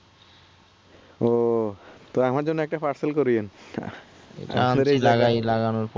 ও তো মার জন্য একটা parcel করিয়েন লাগাই লাগানোর পর